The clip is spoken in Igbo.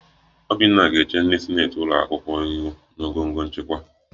Obinna ga-eche ndị sineti ụlọakwụkwọ ihu na ngọngọ nchịkwa